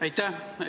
Aitäh!